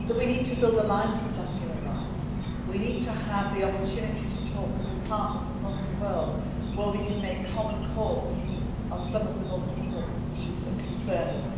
We need to build alliances on human rights and to have the opportunity to talk with partners across the world where we can make common cause on some of the most important issues that concern